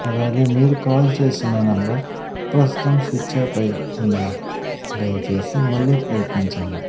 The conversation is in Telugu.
అలాగే మీరు కాల్ చేస్తున్న నెంబర్ ప్రస్తుతం స్విచ్ ఆఫ్ అయి ఉన్నది దయచేసి మళ్ళీ ప్రయత్నించండి.